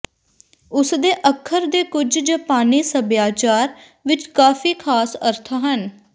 ਉਸ ਦੇ ਅੱਖਰ ਦੇ ਕੁਝ ਜਪਾਨੀ ਸਭਿਆਚਾਰ ਵਿਚ ਕਾਫ਼ੀ ਖਾਸ ਅਰਥ ਹਨ